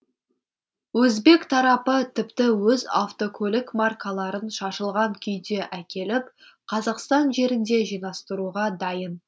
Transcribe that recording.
өзбек тарапы тіпті өз автокөлік маркаларын шашылған күйде әкеліп қазақстан жерінде жинастыруға дайын